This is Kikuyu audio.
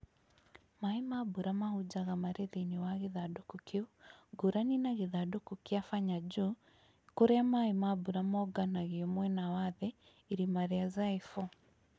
Maaĩ ma mbura mahunjaga marĩ thĩinĩ wa gĩthandũkũ kĩu, ngũrani na gĩthandũkũ kĩa Fanya juu, kũrĩa maaĩ ma mbura monganagio mwena wa thĩ. Irima rĩa Zai 4